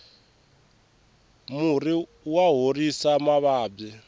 murhi wa horisa mavabyi